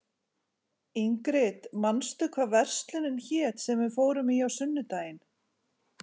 Ingrid, manstu hvað verslunin hét sem við fórum í á sunnudaginn?